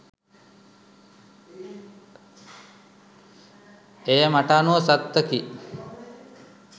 එය මට අනුව සත්තකි